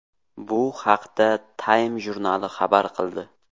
Bu haqda Time jurnali xabar qildi .